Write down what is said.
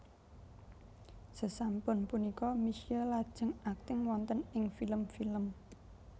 Sasampun punika Misye lajeng akting wonten ing film film